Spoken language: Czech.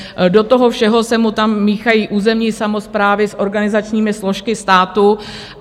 Do toho všeho se mu tam míchají územní samosprávy s organizačními složkami státu.